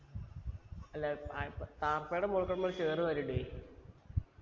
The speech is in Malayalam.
അല്ല തായ്പ താർപ്പായിന്റെ മുകൾക്ക് നമ്മൾ ചേർ വാരിയിടുവേ